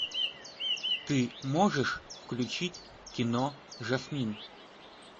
ты можешь включить кино жасмин